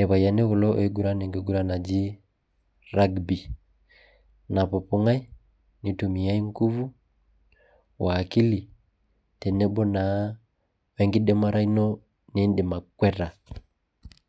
irpayiani kulo oiinguran enkiguran naji, rugby napupubg'ai nitumiae i nguvu.o akikil, tenebo naa wenkidimata ino nidim akweta.